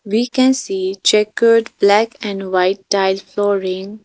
we can see checkered black and white tile flooring.